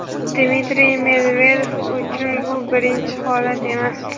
Dmitriy Medvedev uchun bu birinchi holat emas.